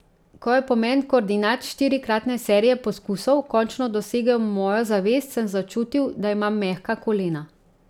Ko je pomen koordinat štirikratne serije poskusov končno dosegel mojo zavest, sem začutil, da imam mehka kolena.